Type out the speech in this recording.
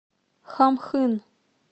хамхын